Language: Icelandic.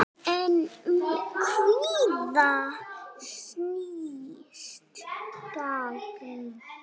En um hvað snýst gangan?